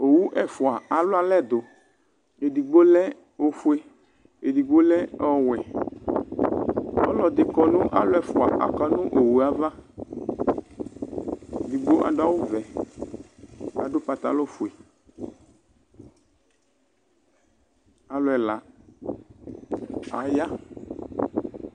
Owuu ɛfua alualɛdũ ɛdigbo lɛ ofue, ɛdikpo lɛ ɔwɔɛ, alu ɛfua kɔ̃nu owu àvá Ɛdigbo adú awú vɛ k'adú pantalon fué, alu ɛlã aya